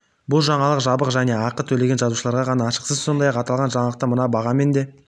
бұл жаңалық жабық және ақы төлеген жазылушыларға ғана ашық сіз сондай-ақ аталған жаңалықты мына бағамен де